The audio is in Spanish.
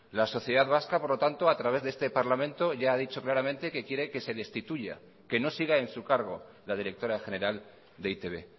la sociedad vasca por lo tanto a través de este parlamento ya ha dicho claramente que quiere que se destituya que no siga en su cargo la directora general de e i te be